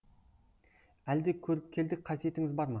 әлде көріпкелдік қасиетіңіз бар ма